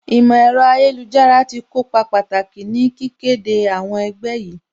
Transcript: Ìmọ̀ ẹ̀rọ ayélujára tí kópa pàtàkì ní kíké de àwọn ẹgbẹ́ yìí